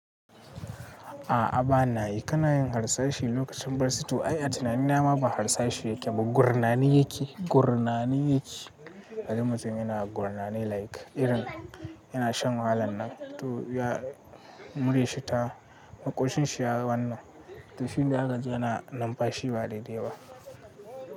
A'a ba na yi, kana yin harsashi lokacin barci ai a tunanina ma ba harsashi yake ba, gurnani yake, gurnani yake. Kaji mutum yana gurnani like irin yana shan wahalannan, to ya muryanshi ta, maƙoshin shi ya wannan, to shine zakaji yana numfashi ba daidai ba.